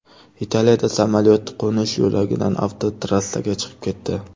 Italiyada samolyot qo‘nish yo‘lagidan avtotrassaga chiqib ketdi.